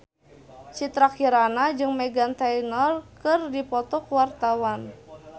Citra Kirana jeung Meghan Trainor keur dipoto ku wartawan